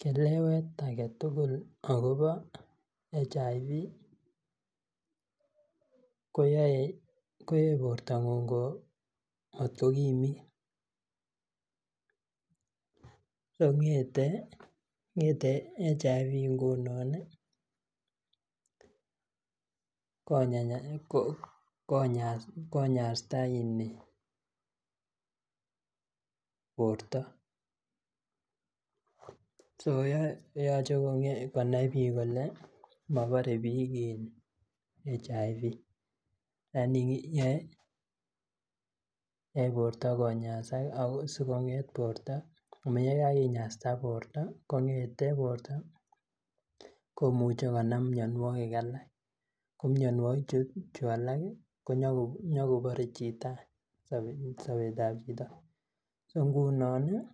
Kelewet aketukul akobo [HIV] koyoe bortangung ko mat kokimit , kongetee HIV ng'unon ii konyasta borto, so yoche konai biik Kole mobore biik [HIV]lakini yoe borto ko nyasak ako sikonget borto ko yekakinyasta borto kong'ete borto komuche konam mionwokik alak ,ko mionwokik chu alak ko nyokobore chito any sobetab chito, so ng'unon ii